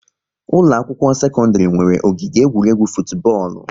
Ụlọ akwụkwọ sekọndrị nwere ogige egwuregwu futubọọlụ